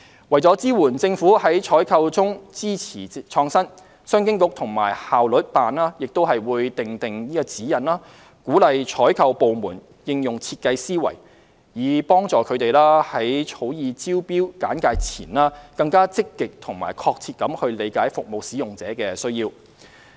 為支援政府在採購中支持創新，商務及經濟發展局及效率辦亦會訂定指引，鼓勵採購部門應用設計思維，以助它們在草擬招標簡介前，更積極及確切地理解服務使用者的需要。